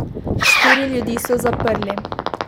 Štiri ljudi so zaprli.